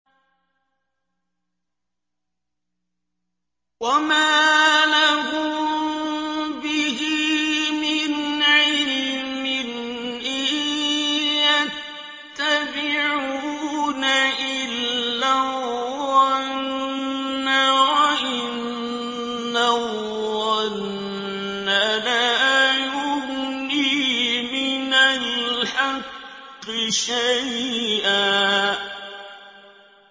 وَمَا لَهُم بِهِ مِنْ عِلْمٍ ۖ إِن يَتَّبِعُونَ إِلَّا الظَّنَّ ۖ وَإِنَّ الظَّنَّ لَا يُغْنِي مِنَ الْحَقِّ شَيْئًا